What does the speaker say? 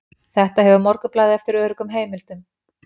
Þetta hefur Morgunblaðið eftir öruggum heimildum